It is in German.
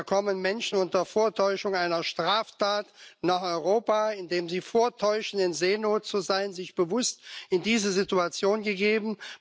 Da kommen Menschen unter Vortäuschung einer Straftat nach Europa, indem sie vortäuschen in, Seenot zu sein, sich bewusst in diese Situation begeben.